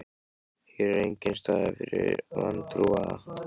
Hér er enginn staður fyrir vantrúaða.